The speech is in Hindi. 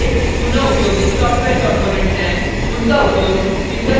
javabeans java के लिए पुनः उपयोगित सॉफ्टवेयर components हैं